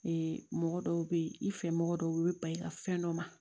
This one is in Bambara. Ee mɔgɔ dɔw bɛ yen i fɛ mɔgɔ dɔw bɛ ba i ka fɛn dɔ ma